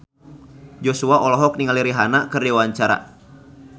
Joshua olohok ningali Rihanna keur diwawancara